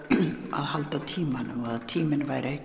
að halda tímanum að tíminn væri